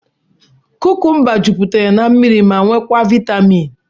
Kúkúmba juputere n'mmiri ma nwee kwaa vitaaminu.